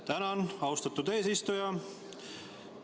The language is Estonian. Tänan, austatud eesistuja!